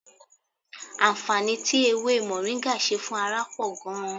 Àǹfààní tí ewé mọ̀ríńgà ṣe fún ara pọ̀ gan-an